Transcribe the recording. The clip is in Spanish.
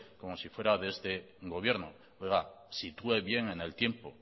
como si fuese de este gobierno oiga sitúe bien en el tiempo